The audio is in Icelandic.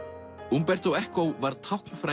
umberto Eco var